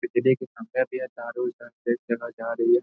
बिजली के खंबे भी है तार उर ऊपर से एक जगह जा रही है।